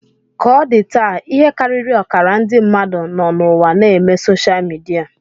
Ka o di taa, ihe karịrị ọkara ndị mmadụ nọ n'ụwa na-eme soshal midia